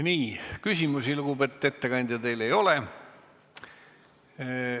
Nii, küsimusi, lugupeetud ettekandja, teile ei ole.